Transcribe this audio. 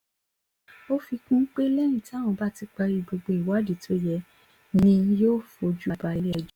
ó fi kún un pé lẹ́yìn táwọn bá ti parí gbogbo ìwádìí tó yẹ ni yóò fojú balẹ̀-ẹjọ́